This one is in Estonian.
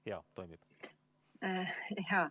Kõik toimib.